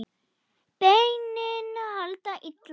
Beinin halda illa.